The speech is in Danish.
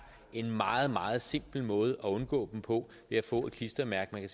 en meget meget simpel måde at undgå dem på ved at få et klistermærke man